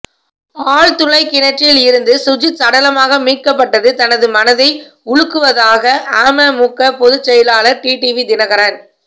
ஆழ்துளை கிணற்றில் இருந்து சுஜித் சடலமாக மீட்கப்பட்டது தனது மனதை உலுக்குவதாக அமமுக பொதுச்செயலாளர் டிடிவி தினகரன்